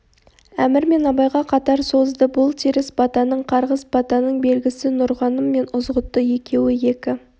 әмір мен абайға қатар созды бұл теріс батаның қарғыс батаның белгісі нұрғаным мен ызғұтты екеуі екі